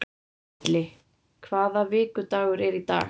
Milli, hvaða vikudagur er í dag?